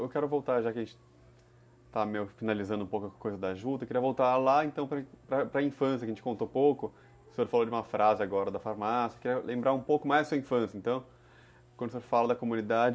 Eu quero voltar, já que a gente está meio finalizando um pouco a coisa da Juta, eu queria voltar lá então para infância, que a gente contou pouco, o senhor falou de uma frase agora da farmácia, eu queria lembrar um pouco mais da sua infância, então, quando o senhor fala da comunidade,